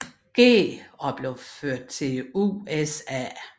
G og blev ført til USA